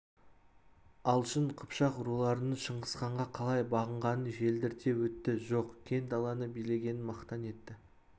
алшын қыпшақ руларының шыңғысханға қалай бағынғанын желдірте өтті жоқ кең даланы билегенін мақтан етті